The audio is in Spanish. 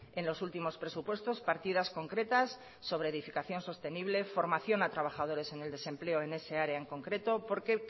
en los últimos presupuestos partidas concretas sobre edificación sostenible formación a trabajadores en el desempleo en ese área en concreto porque